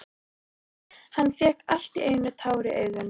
Hann fékk allt í einu tár í augun.